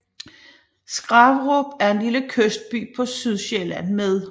Skraverup er en lille kystby på Sydsjælland med